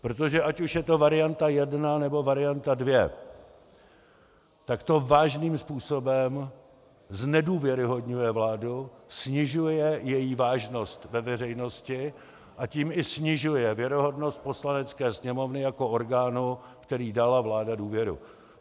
Protože ať už je to varianta jedna, nebo varianta dvě, tak to vážným způsobem znedůvěryhodňuje vládu, snižuje její vážnost ve veřejnosti, a tím i snižuje věrohodnost Poslanecké sněmovny jako orgánu, který dal vládě důvěru.